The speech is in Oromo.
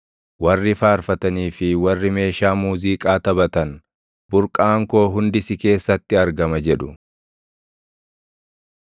Warri faarfatanii fi warri meeshaa muuziiqaa taphatan, “Burqaan koo hundi si keessatti argama” jedhu.